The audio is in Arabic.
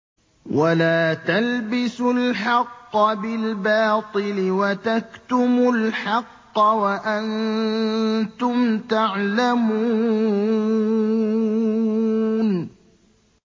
وَلَا تَلْبِسُوا الْحَقَّ بِالْبَاطِلِ وَتَكْتُمُوا الْحَقَّ وَأَنتُمْ تَعْلَمُونَ